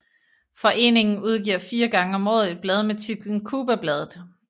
Foreningen udgiver fire gange om året et blad med titlen Cubabladet